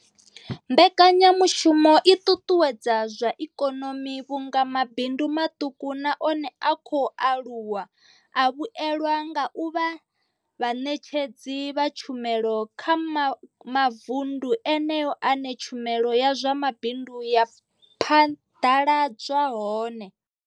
Mbekanyamushumo i ṱuṱuwedza zwa ikonomi vhunga mabindu maṱuku na one a khou aluwa a vhuelwa nga u vha vhaṋetshedzi vha tshumelo kha mavunḓu eneyo ane tshumelo ya zwa mabindu ya phaḓaladzwa hone.